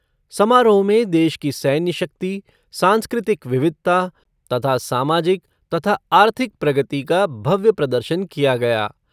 समारोह में देश की सैन्य शक्ति, सांस्कृतिक विविधता तथा सामाजिक तथा आर्थिक प्रगति का भव्य प्रदर्शन किया गया।